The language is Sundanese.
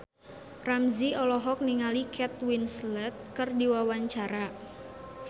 Ramzy olohok ningali Kate Winslet keur diwawancara